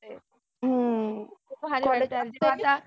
हम्म खुप भारी.